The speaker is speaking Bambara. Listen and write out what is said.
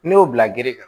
N'i y'o bila gere kan